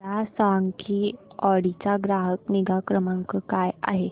मला सांग की ऑडी चा ग्राहक निगा क्रमांक काय आहे